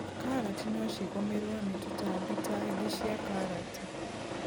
Karati no cigũmĩrwo nĩ tũtambi ta ngi cia karati.